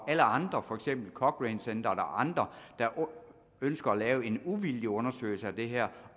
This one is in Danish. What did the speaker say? alle andre for eksempel cochrane centeret eller andre der ønsker at lave en uvildig undersøgelse af det her